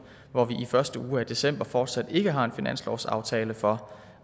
hvor vi i første uge af december fortsat ikke har en finanslovsaftale for